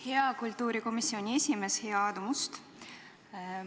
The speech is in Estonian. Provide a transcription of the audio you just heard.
Hea kultuurikomisjoni esimees Aadu Must!